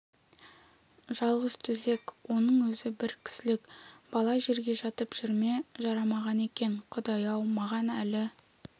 жалғыз төсек оның өзі бір кісілік бала жерге жатып жүр ме жарамаған екен құдай-ау маған әлі